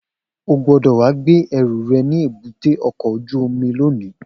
O gbọ́dọ̀ wá gbé ẹrù rẹ̀ ní èbúté ọkọ̀ ojú omi l